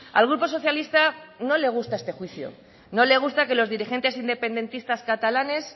al grupo socialista no le gusta este juicio no le gusta que los dirigentes independentistas catalanes